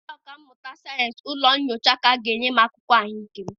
Ndị ọkà mmụta sayensị ụlọ nyocha ka ga-enye m akụkọ ahụike m